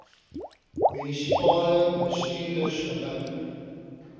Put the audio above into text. munisipale bestuurders gemik